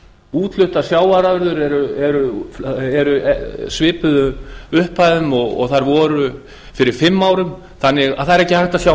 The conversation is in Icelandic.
útfluttar sjávarafurðir eru í svipuðum upphæðum þær voru fyrir fimm árum þannig að það er ekki hægt að sjá